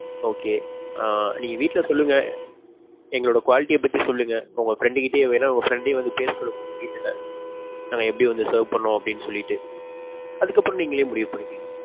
okay ஆஹ் நீங்க வீட்ல சொல்லுங்க எங்களோட quality ய பத்தி சொல்லுங்க. உங்க friend கிட்டயும் வேணா, உங்க friend யும் வந்து பேச சொல்லுங்க உங்க வீட்ல. நாங்க வந்து எப்பிடி serve பண்ணுவோம் அப்பிடின்னு சொல்லிட்டு. அதுக்கு அப்பறோம் நீங்களே முடிவு பண்ணிக்கங்க.